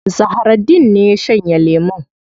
Zahraddeen ne ya shanye lemun.